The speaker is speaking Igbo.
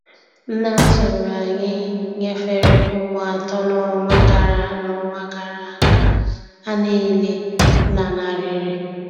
Nne atụrụ anyị nyefere ụmụ atọ n'ọnwa gara n'ọnwa gara aga, ha niile lanarịrị.